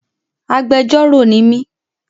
Agbẹjọ́rọ̀ ni mí.